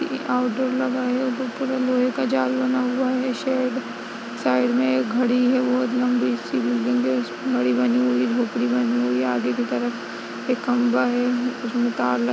Outdoor लगा हुआ। लोहे का जाल बना हुआ है शेड । साइड में एक खड़ी है। बहोत लम्बी सी बिल्डिंग है। इसमें घड़ी बनी हुई। बानी हुई है। आगे की तरफ एक खम्भा है। उसमें तार --